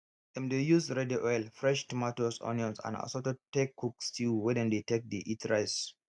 dem dey use red oil fresh tomatoes onions and assorted take cook stew wey dem take dey eat rice